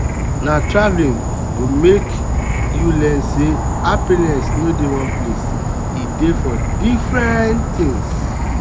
na travel go make make you learn say happiness no dey one place e dey for different things.